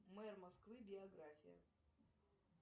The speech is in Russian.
мэр москвы биография